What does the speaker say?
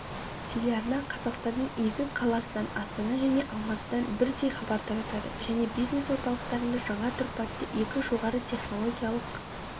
телеарна қазақстанның екі қаласынан астана және алматыдан бірдей хабар таратады және бизнес-орталықтарында жаңа тұрпатты екі жоғарытехнологиялық